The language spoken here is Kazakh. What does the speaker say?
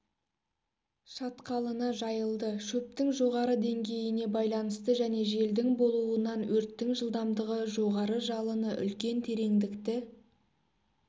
шатқалына жайылды шөптің жоғары деңгейіне байланысты және желдің болуынан өрттің жылдамдығы жоғары жалыны үлкен тереңдікті